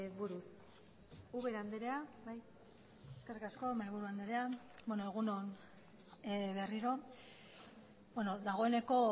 buruz ubera andrea eskerrik asko mahaiburu andrea egun on berriro dagoeneko